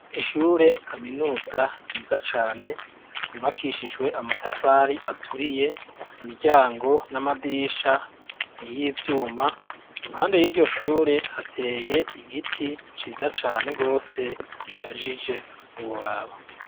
Ishure kaminuza ryiza cane yubakishijwe amatafari aturiye imiryango n'amadirisha n'iyivyuma impande y'iryo shure hateye igiti ciza cane gose gishajije ntiworaba.